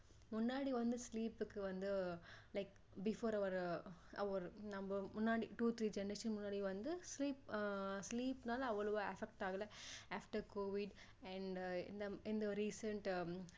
முன்னாடி வந்து sleep க்கு வந்து like before our our நம்ம முன்னாடி two three generation முன்னாடி வந்து sleep sleep னால அவ்ளோ affect ஆகல after covid and and in the recent